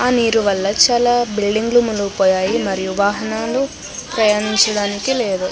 ఆ నీరు వళ్ళ చాలా బిల్డింగులు మునిగిపోయాయి మరియు వాహనాలు ప్రయాణించడానికి లేదు.